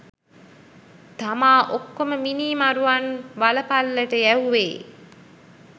තමා ඔක්කොම මිනි මරුවන් වල පල්ලට යැවුවේ.